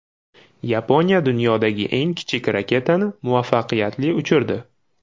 Yaponiya dunyodagi eng kichik raketani muvaffaqiyatli uchirdi .